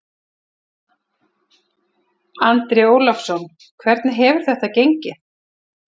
Andri Ólafsson: Hvernig hefur þetta gengið?